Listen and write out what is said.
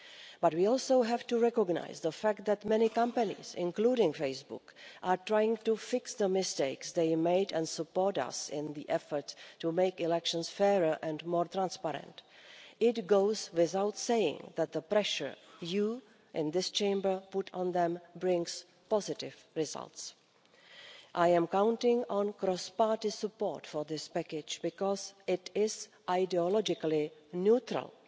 But we also have to recognise the fact that many companies, including Facebook, are trying to fix the mistakes they made and support us in the effort to make elections fairer and more transparent. It goes without saying that the pressure you in this Chamber put on them brings positive results. I am counting on cross party support for this package because it is ideologically neutral.